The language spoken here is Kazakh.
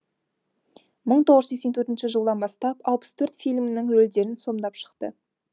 мың тоғыз жүз сексен төрт жылдан бастап алпыс төрт фильмнің рөлдерін сомдап шықты